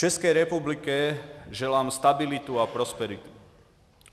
České republice přeji stabilitu a prosperitu.